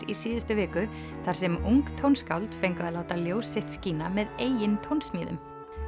í síðustu viku þar sem ung tónskáld fengu að láta ljós sitt skína með eigin tónsmíðum